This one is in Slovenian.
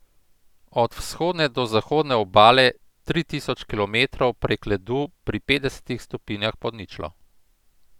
Od vzhodne do zahodne obale, tri tisoč kilometrov prek ledu pri petdesetih stopinjah pod ničlo.